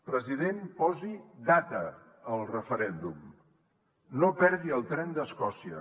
president posi data al referèndum no perdi el tren d’escòcia